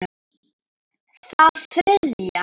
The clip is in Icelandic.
Það þriðja.